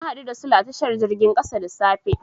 Na haɗu da Sule a tashar jirgin ƙasa da safe.